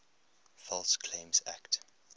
false claims act